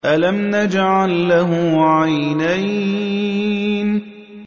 أَلَمْ نَجْعَل لَّهُ عَيْنَيْنِ